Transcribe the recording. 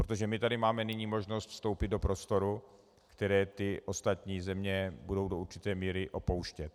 Protože my tady máme nyní možnost vstoupit do prostoru, které ty ostatní země budou do určité míry opouštět.